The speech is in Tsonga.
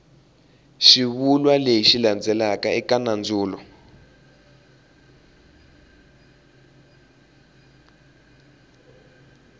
xivulwa lexi landzelaka eka nandzulo